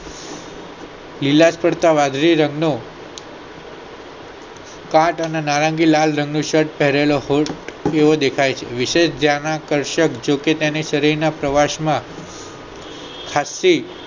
લીલાશ પડતા વાદળી રંગ નું કાટ અને નારંગી લાલ રંગ નું shirt ભરેલા એવોદેખાય છે વિશ્વ પ્રવાસ માં તક થી